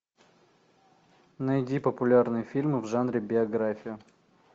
найди популярные фильмы в жанре биография